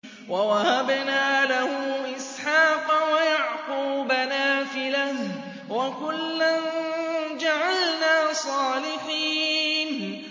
وَوَهَبْنَا لَهُ إِسْحَاقَ وَيَعْقُوبَ نَافِلَةً ۖ وَكُلًّا جَعَلْنَا صَالِحِينَ